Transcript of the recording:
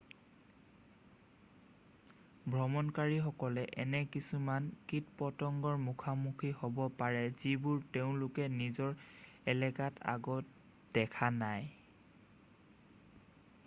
ভ্ৰমণকাৰী সকলে এনে কিছুমান কীট-পতংগৰ মুখামুখি হ'ব পাৰে যিবোৰ তেওঁলোকে নিজৰ এলেকাত আগতে দেখা নাই